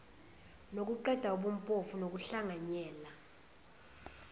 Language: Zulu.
nokuqeda ubumpofu nokuhlanganyela